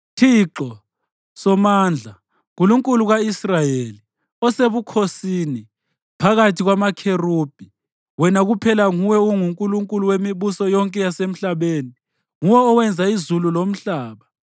“ Thixo Somandla, Nkulunkulu ka-Israyeli osebukhosini phakathi kwamaKherubhi, wena kuphela nguwe onguNkulunkulu wemibuso yonke yasemhlabeni. Nguwe owenza izulu lomhlaba.